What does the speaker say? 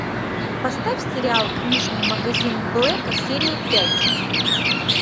поставь сериал книжный магазин блэка серия пять